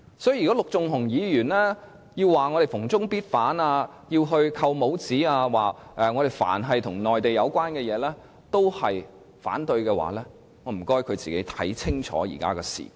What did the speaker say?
所以，如果陸頌雄議員指我們逢中必反，想"扣帽子"，指我們凡與內地有關的事情也反對的話，那便請他先看清楚現在的時局。